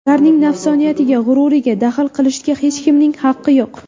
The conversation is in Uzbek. Ularning nafsoniyatiga, g‘ururiga daxl qilishga hech kimning haqqi yo‘q.